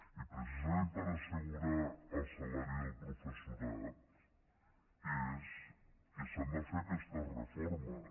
i precisament per assegurar el salari del professorat s’han de fer aquestes reformes